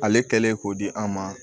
Ale kɛlen k'o di an ma